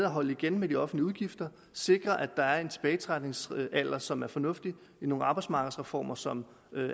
holde igen med de offentlige udgifter og sikre at der er en tilbagetrækningsalder som er fornuftig i nogle arbejdsmarkedsreformer som